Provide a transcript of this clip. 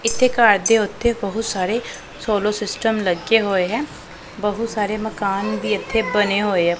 ਇੱਥੇ ਘਰ ਦੇ ਉੱਤੇ ਬਹੁਤ ਸਾਰੇ ਸੋਲਰ ਸਿਸਟਮ ਲੱਗੇ ਹੋਏ ਐ ਬਹੁਤ ਸਾਰੇ ਮਕਾਨ ਵੀ ਇਥੇ ਬਣੇ ਹੋਏ ਆ।